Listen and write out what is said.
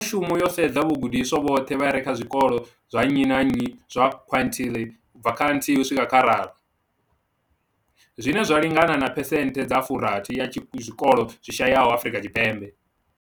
mushumo yo sedza vhagudiswa vhoṱhe vha re kha zwikolo zwa nnyi na nnyi zwa quintile ubva kha thihi u swika kha raru, zwine zwa lingana na phesenthe dza furathi ya zwikolo zwi shayaho Afrika Tshipembe.